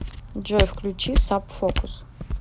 джой включи саб фокус